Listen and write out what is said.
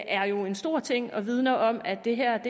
er jo en stor ting og vidner om at det her